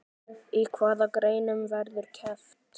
Í hvaða greinum verður keppt?